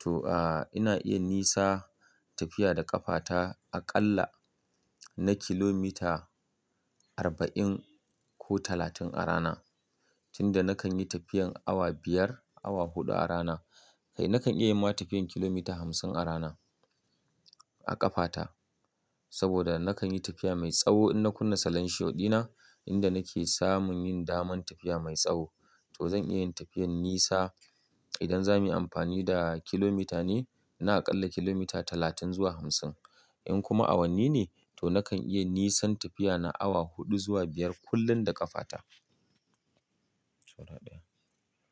To, a, ina iya nisa tafiya da ƙafata aƙalla na kilomita arba'in ko talatin a rana tunda nakan yi tafiyan awa biyar, awa huɗu a rana. Kai nakan iya ma tafiyan kilomita hamsin a rana a ƙafata saboda nakan yi tafiya mai tsawo in na kunna salenshiwo ɗina inda nake samun yin daman tafiya mai tsawo. To zan iya yin tafiyan nisa idan za mu yi amfani da kilomita ne, na aƙalla kilomita talatin zuwa hamsin. In kuma awanni ne to nakan iya nisan tafiya na awa huɗu zuwa biyar kullum da ƙafata. Saura ɗaya.